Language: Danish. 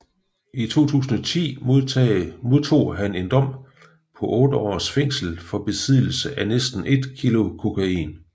I 2010 modtog han en dom på otte års fængsel for besiddelse af næsten et kilo kokain